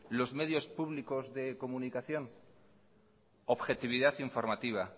los medios públicos de comunicación objetividad informativa